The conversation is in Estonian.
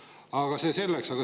Aga see selleks.